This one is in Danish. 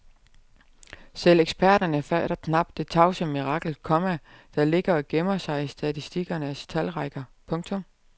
Selv eksperterne fatter knap det tavse mirakel, komma der ligger og gemmer sig i statistikernes talrækker. punktum